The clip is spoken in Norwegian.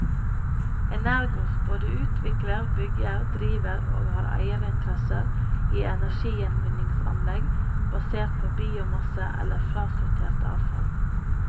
Energos både utvikler, bygger, driver og har eierinteresser i energigjenvinningsanlegg basert på biomasse eller frasortertavfall.